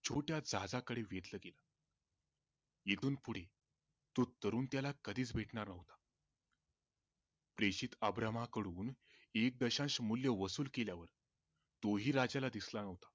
छोट्या जाहजाकडे वेधले गेले इथून पुढे तो तरुण त्याला कधीच भेटणार नव्हता प्रेषित अब्राहमा कडून एकदशांश मूल्य वसुल केल्यावर तो ही राजाला दिसला नव्हता.